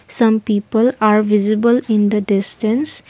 some people are visible in the distance.